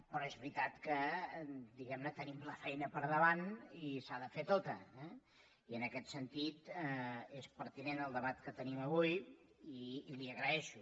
però és veritat que diguemne tenim la feina per davant i s’ha de fer tota eh i en aquest sentit és pertinent el debat que tenim avui i l’hi agraeixo